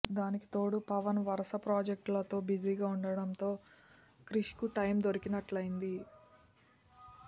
దానికి తోడు పవన్ వరస ప్రాజెక్టులతో బిజిగా ఉండటంతో క్రిష్ కు టైమ్ దొరికినట్లైంది